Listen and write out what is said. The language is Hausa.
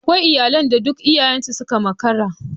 Akwai iyalan da duk iyayen suka makara.